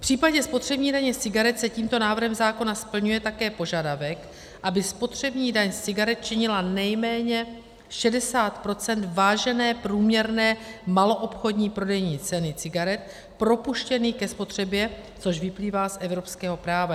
V případě spotřební daně z cigaret se tímto návrhem zákona splňuje také požadavek, aby spotřební daň z cigaret činila nejméně 60 % vážené průměrné maloobchodní prodejní ceny cigaret propuštěných ke spotřebě, což vyplývá z evropského práva.